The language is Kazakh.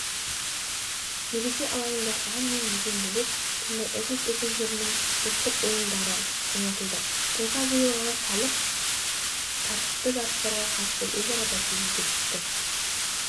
мереке алаңында ән мен биден бөлек түрлі этнос өкілдерінің ұлттық ойындары ойнатылды тойға жиылған халық тартысты жарыстарға қатысып өзара бәсекеге түсті